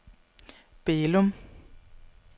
Bælum